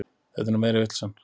Þetta er nú meiri vitleysan.